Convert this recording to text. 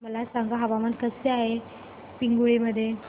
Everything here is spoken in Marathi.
मला सांगा हवामान कसे आहे पिंगुळी मध्ये